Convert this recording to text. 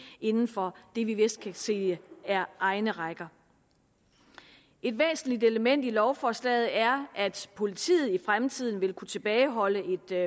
inden for det vi vidst kan sige er egne rækker et væsentligt element i lovforslaget er at politiet i fremtiden vil kunne tilbageholde et